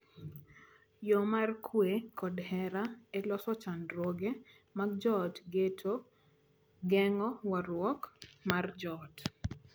Yoo mar kwe kod hera e loso chandruoge mag joot geto geng’o wuoruok mar joot.